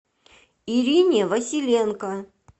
ирине василенко